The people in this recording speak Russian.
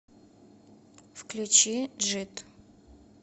включи джид